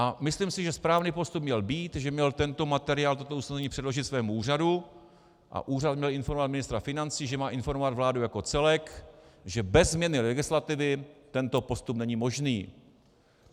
A myslím si, že správný postup měl být, že měl tento materiál, toto usnesení, předložit svému úřadu a úřad měl informovat ministra financí, že má informovat vládu jako celek, že bez změny legislativy tento postup není možný.